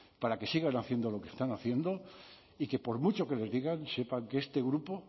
para que sigan haciendo lo que están haciendo y que por mucho que les digan sepan que este grupo